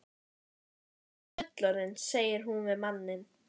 Nú er ég orðin fullorðin, segir hún við manninn.